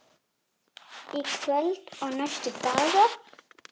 Í kvöld og næstu daga?